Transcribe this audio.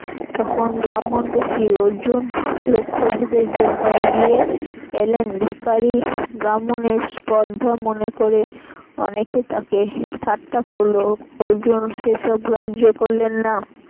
তখন ব্রাহ্মণ বেশি অর্জুন লক্ষ্যভেদের জন্য এগিয়ে এলেন ব্রাহ্মণের স্পর্ধা মনে করে অনেকে তাকে ঠাট্টা করল অর্জুন সেসব গ্রাহ্য করলেন না